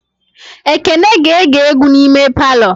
Ekene ga-ege egwu n'ime palọ